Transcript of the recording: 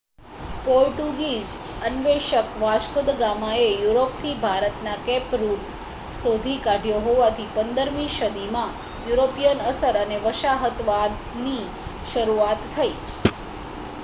Portuguese અન્વેષક Vasco da ગામાએ યુરોપથી ભારતનો કેપ રૂટ શોધી કાઢ્યો હોવાથી 15મી સદીમાં યુરોપિયન અસર અને વસાહતવાદની શરૂઆત થઈ